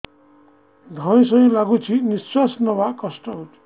ଧଇଁ ସଇଁ ଲାଗୁଛି ନିଃଶ୍ୱାସ ନବା କଷ୍ଟ ହଉଚି